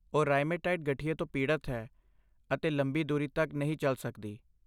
ਉਹ ਰਾਇਮੇਟਾਇਡ ਗਠੀਏ ਤੋਂ ਪੀੜਤ ਹੈ ਅਤੇ ਲੰਬੀ ਦੂਰੀ ਤੱਕ ਨਹੀਂ ਚੱਲ ਸਕਦੀ।